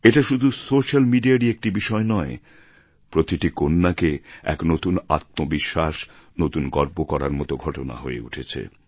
এটা শুধু সোস্যাল মিডিয়ারই একটি বিষয় নয় প্রতিটি কন্যাকে এক নতুন আত্মবিশ্বাস নতুন গর্ব করার মত ঘটনা হয়ে উঠেছে